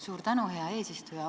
Suur tänu, hea eesistuja!